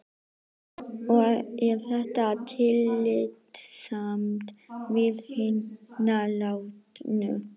Og er þetta tillitssamt við hina látnu?